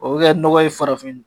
O bɛ kɛ nɔgɔ ye farafin